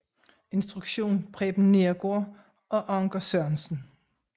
Instruktion Preben Neergaard og Anker Sørensen